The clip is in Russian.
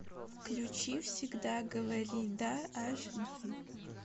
включи всегда говори да ач ди